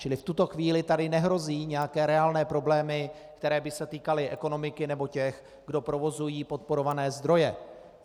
Čili v tuto chvíli tady nehrozí nějaké reálné problémy, které by se týkaly ekonomiky nebo těch, kdo provozují podporované zdroje.